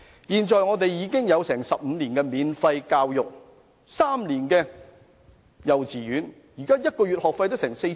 現在香港已有15年免費教育 ，3 年幼稚園學費津貼。